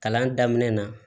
Kalan daminɛ na